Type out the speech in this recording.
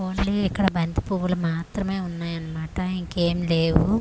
Only ఇక్కడ బంతి పువ్వులు మాత్రమే ఉన్నాయన్నమాట ఇంకేం లేవు.